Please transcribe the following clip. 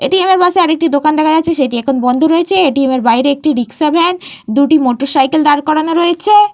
এ T M - এর পাশে আরেকটি দোকান দেখা যাচ্ছে সেটি এখন বন্ধ রয়েছে। এ টি এম -এর বাইরে একটি রিকশা ভ্যান দুটি মোটরসাইকেল দাঁড় করানো রয়েছে।